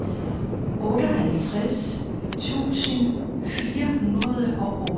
otteoghalvtreds tusind fire hundrede og otteogtredive